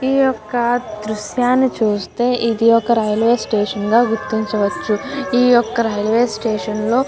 ఈయొక్క దృశ్యాన్ని చూస్తె ఇది ఒక రైల్వే స్టేషన్ గ గుర్తించవచ్చు ఈయొక్క రైల్వే స్టేషన్ లో --